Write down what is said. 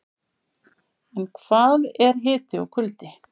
En hvað eru hiti og kuldi?